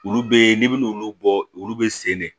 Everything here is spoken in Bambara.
Olu be n'i bin'olu bɔ olu be sen de